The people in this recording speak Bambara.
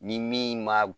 Ni min ma